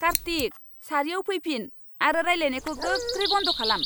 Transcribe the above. कार्तिक! सारिआव फैफिन आरो रायलायनायखौ गोख्रै बन्द खालाम।